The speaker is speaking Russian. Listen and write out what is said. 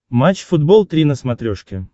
матч футбол три на смотрешке